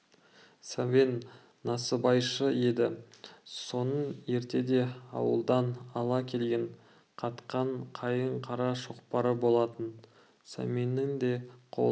сәмен насыбайшы еді соның ертеде ауылдан ала келген қатқан қайың қара шоқпары болатын сәменнің де қолына